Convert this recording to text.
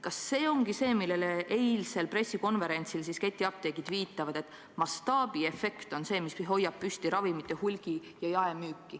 Kas see ongi see, millele ketiapteegid eilsel pressikonverentsil viitasid – et mastaabiefekt on see, mis hoiab püsti ravimite hulgi- ja jaemüüki?